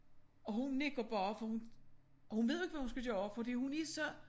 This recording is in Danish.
Og hun nikker bare for hun hun ved ikke hvad hun skal gøre fordi hun er så